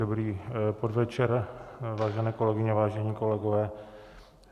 Dobrý podvečer, vážené kolegyně, vážení kolegové.